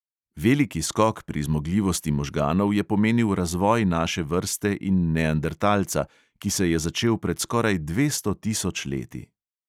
Veliki skok pri zmogljivosti možganov je pomenil razvoj naše vrste in neandertalca, ki se je začel pred skoraj dvesto tisoč leti.